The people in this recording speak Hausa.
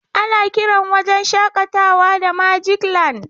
Ana kiran wajen shakatawa da magic land.